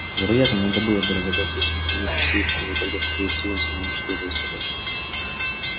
вероятно надо было бы разобрать весь механизм сейфа но ведь тогда скорее всего он самоуничтожился бы